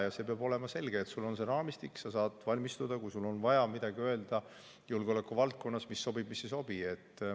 Ja see peab olema selge, et sul on see raamistik, sa saad valmistada, kui sul on vaja julgeolekuvaldkonnas midagi öelda, mis sobib ja mis ei sobi.